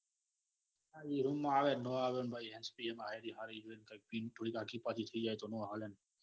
હા રિંગ આવે નો આવે ભાઈ હેંસપ્રિ કૈક પિન તોડી નાખી આગિ પછી થઇ જાય તો નો હાલે ન